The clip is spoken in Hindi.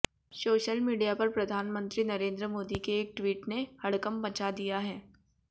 सोशल मीडिया पर प्रधानमंत्री नरेंद्र मोदी के एक ट्वीट ने हड़कंप मचा दिया है